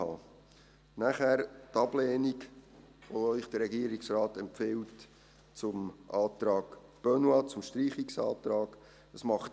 Dann zur Ablehnung, die Ihnen der Regierungsrat zum Antrag Benoit, zum Streichungsantrag empfiehlt: